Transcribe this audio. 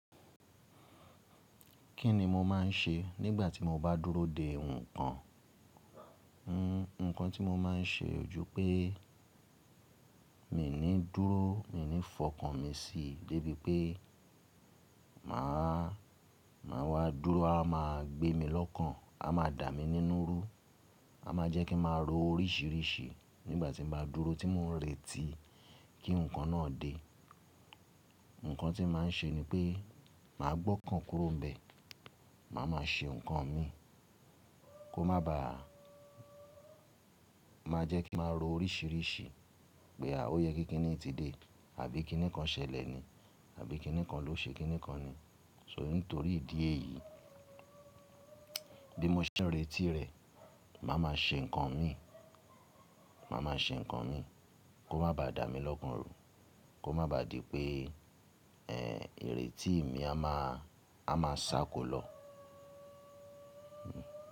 Kí ni mo máa ń ṣe nígbà tí mo bá dúró de nǹkan? Nǹkan tí mo máa ń ṣe ojú pé mi ò ní dúró, mi ò ní fọkàn mi síi débi pé màá, màá wá dúró, a má gbé mi lọ́kàn, a má dà mí nínú rú, a má jẹ́ kí màá ro oríṣìíríṣìí nígbà tí mo bá dúró tí mò ń retí kí nǹkan náà dé. Nǹkan tí màá ń ṣe ni pé màá gbọ́kàn kúrò níbẹ̀, màá má a ṣe nǹkan mi kó má bá, má jẹ́ kí màá ro oríṣìíríṣìí pé à o yé kíni tí dé, àbí kíni kan ṣẹlẹ̀ ni, àbí kíni kan ló ṣe kíni kan ni. So nítorí ìdí èyí bi mo se n retí rẹ̀, màá má a ṣe nǹkan mi, màá má a ṣe nǹkan mi kó má bá dà mí lọ́kàn rú, kó má bá di pé iretí mi a má a má sá ko lọ. Hmm.